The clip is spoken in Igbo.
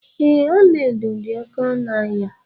Ee, ọla edo dị oké ọnụ ahịa.